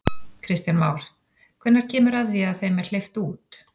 Kristján Már: Hvenær kemur að því að þeim er hleypt út?